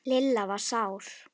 Lilla var sár.